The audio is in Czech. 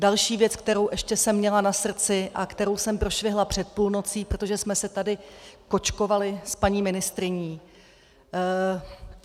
Další věc, kterou ještě jsem měla na srdci a kterou jsem prošvihla před půlnocí, protože jsme se tady kočkovaly s paní ministryní.